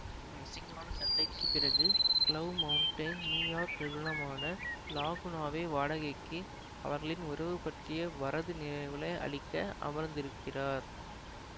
ஒரு அசிங்கமான சண்டைக்குப் பிறகு க்ளோவ் மௌண்டைன் நியூயார்க் நிறுவனமான லாகுனாவை வாடகைக்கு அவர்களின் உறவு பற்றிய வரது நினைவுகளை அழிக்க அமர்ந்துகிறார்